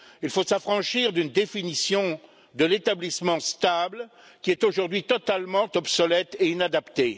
Il faut s'affranchir d'une définition de l'établissement stable qui est aujourd'hui totalement obsolète et inadaptée.